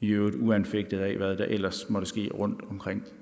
i øvrigt uanfægtet af hvad der ellers måtte ske rundtomkring